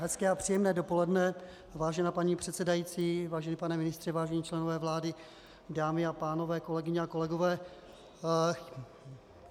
Hezké a příjemné dopoledne, vážená paní předsedající, vážený pane ministře, vážení členové vlády, dámy a pánové, kolegyně a kolegové.